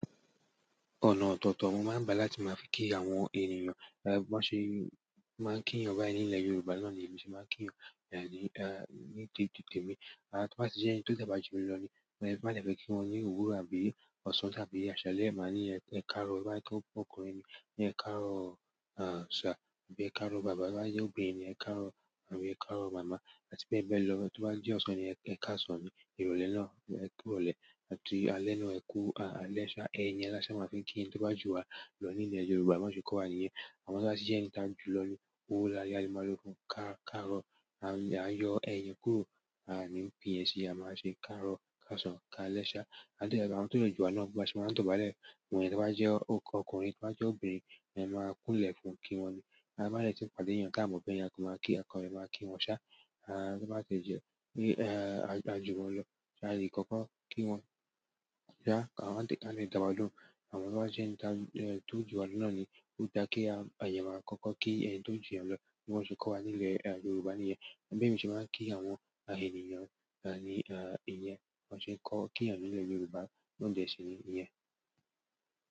Ọ̀nà ọ̀tọ̀ọ̀tọ̀ mo máa ń bá láti máa fi kí àwọn ènìyàn, bí wọ́n ṣe máa ń kí wọn báyìí ní ilẹ̀ Yorùbá náà ni èmi ṣe máa ń kí wọn ní te te té mi. Tí wọ́n bá ṣe jẹ́ ẹni tó dagbá jù mí lọ ni, bá nìyẹn fẹ́ kí wọn ní òwúrọ̀ àbí ọ̀sán tàbí àṣálẹ́, màá ní ẹ̀káàárọ̀, bá yẹ kó ọkùnrin ni, ní ẹ̀káàárọ̀ àṣá àbí ẹ̀káàárọ̀ bàbá. Bá yẹ óbìnrin ni, ẹ̀káàárọ̀ àbí ẹ̀káàárọ̀ màmá. Àti bẹ́ẹ̀ bẹ́ẹ̀ lo to bati je ọsán ni ekasan. Ìrọ̀lẹ́ náà ni ẹ̀kú ìrọ̀lẹ́, àti alẹ́ náà ni ẹ̀kú alẹ́ṣa. Ẹ̀yẹn ni a ṣe máa ń fi kí ẹni tó bá jù wa lọ ní ilẹ̀ Yorùbá, bí wọ́n ṣe kó wa nìyẹn. Àwọn tí wọ́n bá ṣe jẹ́ ẹni táa jù lọ ni, owúró láyé àlùmákọ́, káàárọ̀, à yọ ẹ̀yẹn kúrò, à ni pín yẹn sí i, a máa ṣe káàárọ̀, káàsán, ká alẹ́ṣa. Àdí ẹ, àwọn tó jù wa náà bí a ṣe máa ń tọ̀balẹ̀, òun ẹni tí wọ́n bá jẹ́ ọkùnrin tí wọ́n bá jẹ́ obìnrin ni a máa kúnlẹ̀ fún kí wọn ni. A bá nìyẹn ṣe pàdé yẹn táa mò fẹ́ yẹn kí, a kọ́ le máa kí wọn ṣá. A maa ki wọn sa, to ba tie je pe a ju wọn lo, a le koko kí wọn ṣá wa de da won loun. Àwọn to bá jẹ́ ẹni tó jù wa nà ni, ó dá kẹ́ ẹ, àyè máa kọ́kọ́ kí ẹni tó ń jù wa lọ bí wọ́n ṣe kó wa ní ilẹ̀ Yorùbá nìyẹn. Bẹ́ mi ṣe máa ń kí àwọn ènìyàn ní ìyẹn, wọ́n ṣe kọ́ kí yan ní ilẹ̀ Yorùbá na dẹ síi nìyẹn.